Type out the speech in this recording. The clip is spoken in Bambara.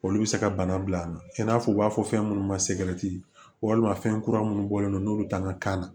Olu bɛ se ka bana bila an na i n'a fɔ u b'a fɔ fɛn minnu ma segi walima fɛn kura minnu bɔlen don n'olu t'an ka kan na